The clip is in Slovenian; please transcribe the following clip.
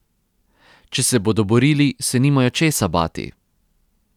Če se bodo borili, se nimajo česa bati.